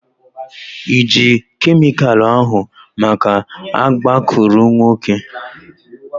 Ị ji kemịkalụ ahu maka agbakụrụnwokē?